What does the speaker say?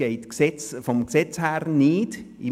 Dies ist vom Gesetz her nicht möglich.